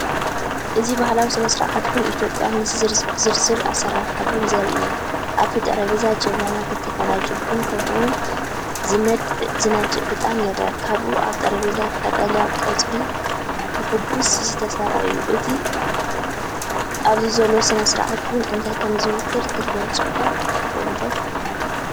እዚ ባህላዊ ስነ-ስርዓት ቡን ኢትዮጵያ፣ ምስ ዝርዝር ኣሰራርሓ ቡን ዘርኢ እዩ። ኣብቲ ጠረጴዛ ጀብና፡ክልተ ፈናጅል ቡን፡ከምኡ’ውን ዝነድ ዕጣን ይርአ። ከባቢኡ ኣብ ጠረጴዛ ቀጠልያ ቆጽሊ ብሕጉስ ዝተሰርዐ እዩ። እቲ ኣብዚ ዘሎ ስነ-ስርዓት ቡን እንታይ ከም ዝውክል ክትገልጸልካ ትኽእል ዶ?